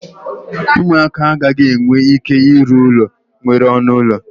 ụmụaka agaghị enwe ike ịrụ ụlọ nwere ọnụ ụlọ